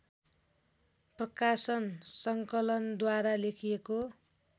प्रकाशन सङ्कलनद्वारा लेखिएको